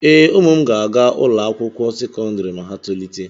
Ee, ụmụ m ga-aga ụlọ akwụkwọ sekọndrị ma ha tolite.